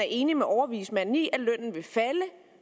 enig med overvismanden i at lønnen vil falde